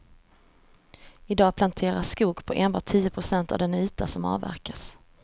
I dag planteras skog på enbart tio procent av den yta som avverkas.